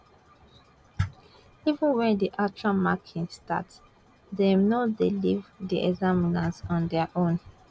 even wen di actual marking start dem no dey leave di examiners on dia own